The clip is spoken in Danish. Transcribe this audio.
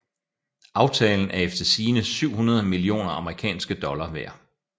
Aftalen er efter sigende 700 millioner amerikanske dollar værd